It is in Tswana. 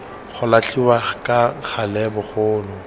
go latlhiwa ka gale bogolo